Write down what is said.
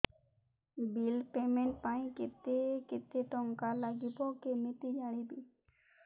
bill payment ପାଇଁ କେତେ କେତେ ଟଙ୍କା ଲାଗିବ କେମିତି ଜାଣିବି